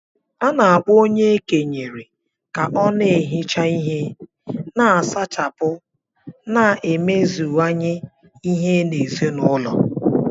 A na-akpọ onye e kenyere ka ọ na-ehicha ihe, na-asachapụ na imeziwanye ihe n’ezinụlọ